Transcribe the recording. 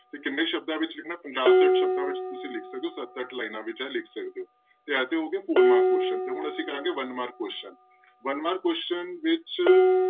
ਤੇ ਕਿੰਨੇ ਸ਼ਬਦਾਂ ਵਿੱਚ ਲਿਖਣਾ ਪੰਜਾਹ ਛੱਠ ਸ਼ਬਦਾਂ ਵਿੱਚ ਤੁਸੀਂ ਲਿਖ ਸਕਦੇ ਹੋ ਸੱਤ ਅੱਠ ਲਾਇਨਾਂ ਵਿੱਚ ਲਿਖ ਸਕਦੇ ਹੋ, ਤੇ ਇਹ ਤੇ ਹੋ ਗਏ four mark question ਤੇ ਹੁਣ ਅਸੀਂ ਕਰਾਂਗੇ one mark question, one mark question ਵਿੱਚ